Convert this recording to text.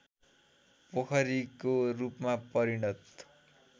पोखरीको रूपमा परिणत